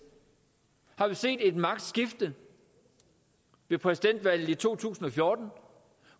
har vi set et magtskifte med præsidentvalget i to tusind og fjorten